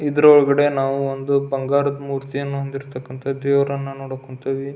ಇದರ ಒಳಗಡೆ ನಾವು ಒಂದು ಬಂಗಾರದ ಮೂರ್ತಿಯನ್ನು ಹೊಂದಿರತಕ್ಕಂತ ದೇವರನ್ನು ನೋಡಕ್ ಕುಂತೀವಿ.